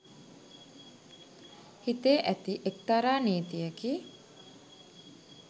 සිතේ ඇති එක්තරා නීතියකි